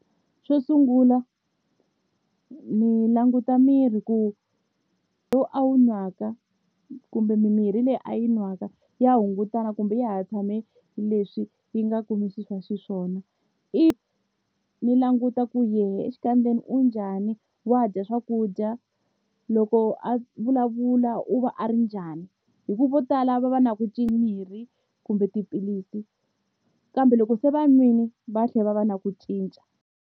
Xo sungula ni languta miri ku lowu a wu nwaka kumbe mimirhi leyi a yi nwaka ya hungutana kumbe ya ha tshame leswi yi nga kumisisa xiswona if ni languta ku yehe exikandzeni u njhani wa dya swakudya loko a vulavula u va a ri njhani hi ku vo tala va va na ku mimirhi kumbe tiphilisi kambe loko se va nwini va tlhela va va na ku cinca.